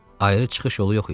Ayrı çıxış yolu yox idi.